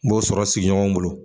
N b'o sɔrɔ sigiɲɔgɔn bolo.